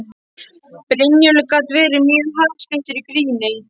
Brynjólfur gat verið mjög harðskeyttur í gríni.